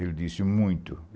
Ele disse muito.